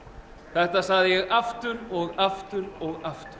þetta sagði ég aftur og aftur og aftur